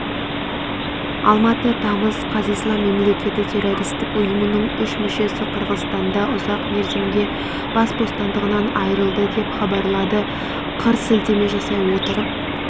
алматы тамыз қаз ислам мемлекеті террористік ұйымының үш мүшесі қырғызстанда ұзақ мерзімге бас бостандығынан айрылды деп хабарлады қыр сілтеме жасай отырып